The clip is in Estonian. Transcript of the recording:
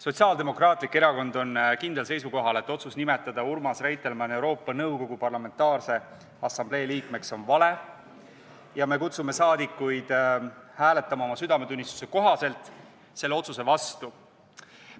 Sotsiaaldemokraatlik Erakond on kindlal seisukohal, et otsus nimetada Urmas Reitelmann Euroopa Nõukogu Parlamentaarse Assamblee liikmeks on vale, ja me kutsume saadikuid üles hääletama oma südametunnistuse kohaselt selle otsuse vastu.